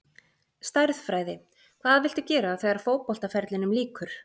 Stærðfræði Hvað viltu gera þegar að fótboltaferlinum lýkur?